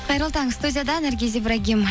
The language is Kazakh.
қайырлы таң студияда наргиз ибрагим